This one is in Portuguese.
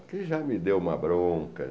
Porque ele já me deu uma bronca.